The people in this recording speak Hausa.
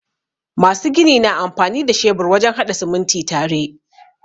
Masu gini na amfani da shebur wajen haɗa sumunti tare.